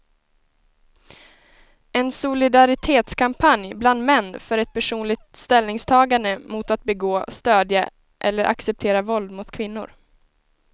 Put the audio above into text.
En solidaritetskampanj bland män för ett personligt ställningstagande mot att begå, stödja eller acceptera våld mot kvinnor.